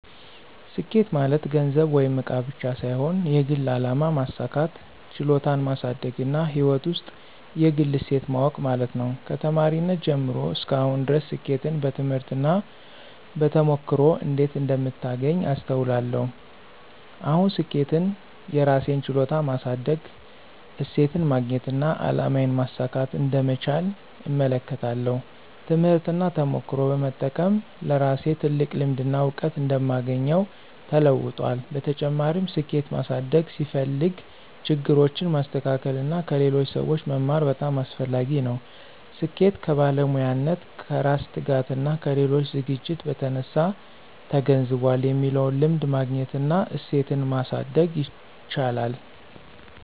ስኬት ማለት ገንዘብ ወይም እቃ ብቻ ሳይሆን የግል አላማ ማሳካት፣ ችሎታን ማሳደግና ሕይወት ውስጥ የግል እሴት ማወቅ ማለት ነው። ከተማሪነቴ ጀምሮ እስከ አሁን ድረስ ስኬትን በትምህርት እና በተሞክሮ እንዴት እንደምታገኝ አስተውላለሁ። አሁን ስኬትን የራሴን ችሎታ ማሳደግ፣ እሴትን ማግኘትና አላማዬን ማሳካት እንደምቻል እመለከታለሁ። ትምህርትና ተሞክሮ በመጠቀም ለራሴ ትልቅ ልምድና እውቀት እንደማግኘው ተለውጧል። በተጨማሪም፣ ስኬት ማሳደግ ሲፈልግ ችግሮችን ማስተካከል እና ከሌሎች ሰዎች መማር በጣም አስፈላጊ ነው። ስኬት ከባለሙያነት፣ ከራስ ትጋትና ከሌሎች ዝግጅት በተነሳ ተገንዝቧል የሚለውን ልምድ ማግኘት እና እሴትን ማሳደግ ይቻላል።